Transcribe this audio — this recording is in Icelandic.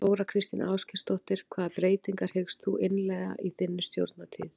Þóra Kristín Ásgeirsdóttir: Hvaða breytingar hyggst þú innleiða í þinni stjórnartíð?